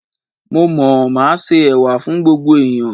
Mo mọ̀, màá se Ẹ̀wà fún gbogbo ẹ̀yàn.